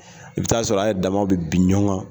I bɛ taa sɔrɔ a yɛrɛ dama bɛ bin ɲɔgɔn kan.